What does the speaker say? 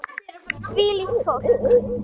Hvílíkt fólk!